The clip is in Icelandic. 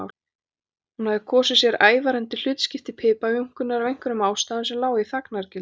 Hún hafði kosið sér ævarandi hlutskipti piparjúnkunnar af einhverjum ástæðum sem lágu í þagnargildi.